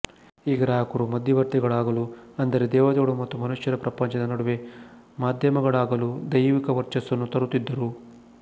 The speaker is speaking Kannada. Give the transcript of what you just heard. ಈ ಗ್ರಾಹಕರು ಮಧ್ಯವರ್ತಿಗಳಾಗಲು ಅಂದರೆ ದೇವೆತೆಗಳು ಮತ್ತು ಮನುಷ್ಯರ ಪ್ರಪಂಚದ ನಡುವೆ ಮಾಧ್ಯಮಗಳಾಗಲು ದೈವಿಕ ವರ್ಚಸ್ಸನ್ನು ತರುತ್ತಿದ್ದರು